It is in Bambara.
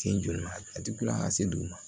Sen joli ma a ti kulon ka se dugu ma